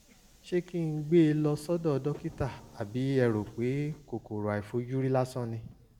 ṣé kí n gbé e lọ sọ́dọ̀ dókítà àbí ẹ rò pé kòkòrò àìfojúrí lásán ni?